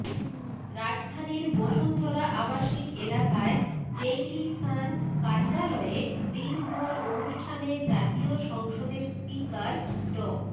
রাজধানীর বসুন্ধরা আবাসিক এলাকায় ডেইলি সান কার্যালয়ে দিনভর অনুষ্ঠানে জাতীয় সংসদের স্পিকার ড